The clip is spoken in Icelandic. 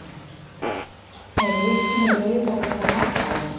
eru litningar í rauðhærðum eitthvað gallaðir